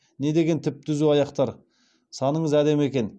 недеген түп түзу аяқтар саныңыз әдемі екен